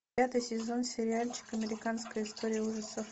пятый сезон сериальчика американская история ужасов